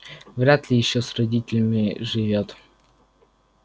вряд ли ещё с родителями живёт